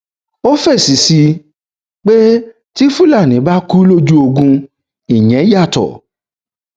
ó fèsì pé tí fúlàní bá kú lójú ogun ìyẹn yàtọ